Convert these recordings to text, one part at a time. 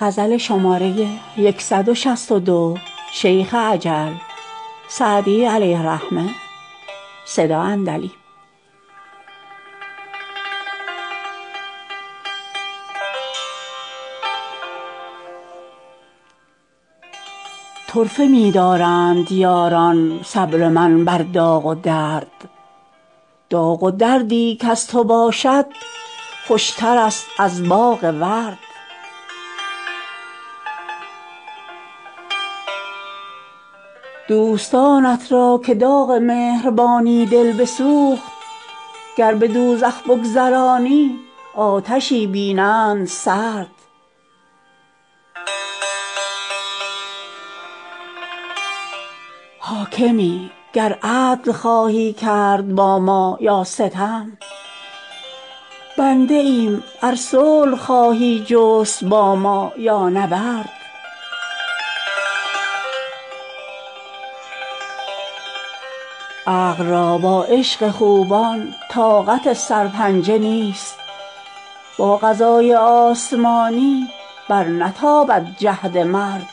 طرفه می دارند یاران صبر من بر داغ و درد داغ و دردی کز تو باشد خوشترست از باغ ورد دوستانت را که داغ مهربانی دل بسوخت گر به دوزخ بگذرانی آتشی بینند سرد حاکمی گر عدل خواهی کرد با ما یا ستم بنده ایم ار صلح خواهی جست با ما یا نبرد عقل را با عشق خوبان طاقت سرپنجه نیست با قضای آسمانی برنتابد جهد مرد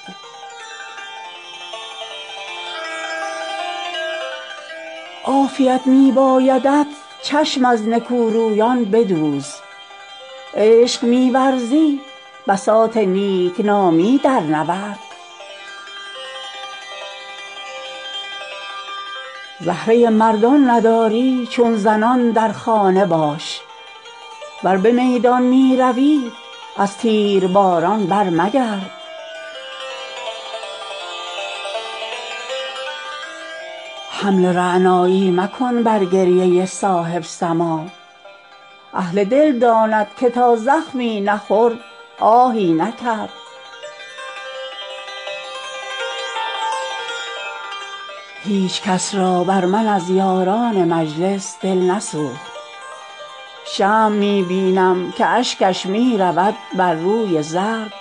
عافیت می بایدت چشم از نکورویان بدوز عشق می ورزی بساط نیک نامی درنورد زهره مردان نداری چون زنان در خانه باش ور به میدان می روی از تیرباران برمگرد حمل رعنایی مکن بر گریه صاحب سماع اهل دل داند که تا زخمی نخورد آهی نکرد هیچ کس را بر من از یاران مجلس دل نسوخت شمع می بینم که اشکش می رود بر روی زرد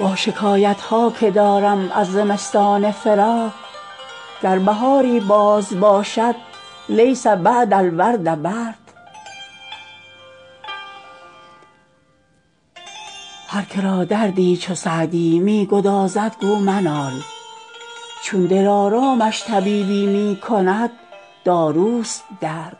با شکایت ها که دارم از زمستان فراق گر بهاری باز باشد لیس بعد الورد برد هر که را دردی چو سعدی می گدازد گو منال چون دلارامش طبیبی می کند داروست درد